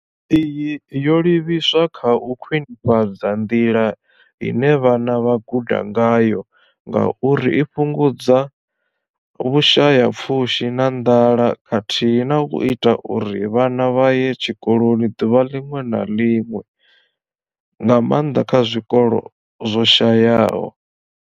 Iyi yo livhiswa kha u khwini fhadza nḓila ine vhana vha guda ngayo ngauri i fhungudza Vhusha ya pfushi na nḓala khathihi na u ita uri vhana vha ye tshikoloni ḓuvha ḽiṅwe na ḽiṅwe, nga maanḓa kha zwikolo zwo shayaho.